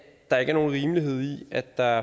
der ikke er nogen rimelighed i at der